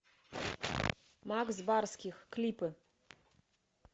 макс барских клипы